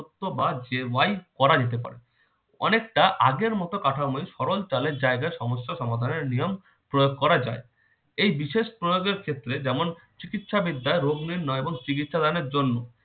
বা y করা যেতে পারে অনেকটা আগের মত কাঠামোই সরল চালের জায়গায় সমস্ত সমাধানের নিয়ম প্রয়োগ করা যায় এই বিশেষ প্রয়োগের ক্ষেত্রে যেমন চিকিৎসা বিদ্যায় রোগ নির্ণয় এবং চিকিৎসা দানের জন্য